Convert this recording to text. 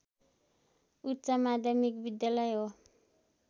उच्च माध्यमिक विद्यालय हो